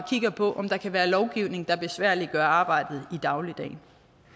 på om der kan være lovgivning der besværliggør arbejdet i dagligdagen